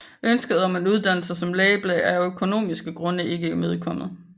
Ønsket om en uddannelse som læge blev af økonomiske grunde ikke imødekommet